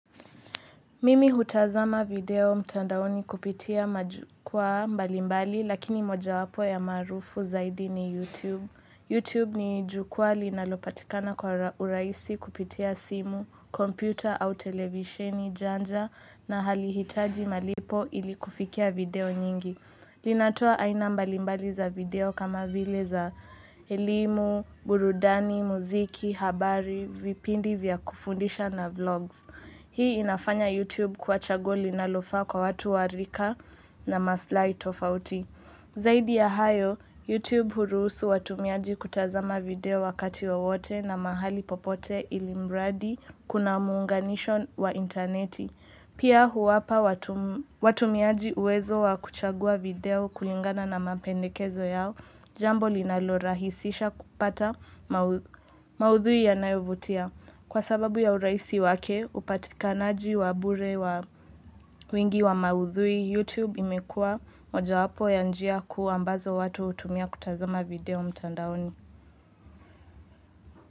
Mimi hutazama video mtandaoni kupitia majukwaa mbalimbali, lakini mojawapo ya maarufu zaidi ni YouTube. YouTube ni jukwaa linalopatikana kwa urahisi kupitia simu, kompyuta au televisheni janja na halihitaji malipo ilikufikia video nyingi. Linatoa aina mbalimbali za video kama vile za elimu, burudani, muziki, habari, vipindi vya kufundisha na vlogs. Hii inafanya YouTube kuwa chaguo linalofaa kwa watu wa rika na maslai tofauti. Zaidi ya hayo, YouTube hurusu watumiaji kutazama video wakati wowote na mahali popote ilimradi kuna muunganisho wa interneti. Pia huwapa watumiaji uwezo wa kuchagua video kulingana na mapendekezo yao, jambo linalorahisisha kupata maudhui yanayovutia. Kwa sababu ya urahisi wake upatikanaji wa bure wa wingi wa maudhui YouTube imekua mojawapo ya njia kuu ambazo watu hutumia kutazama video mtandaoni.